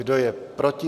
Kdo je proti?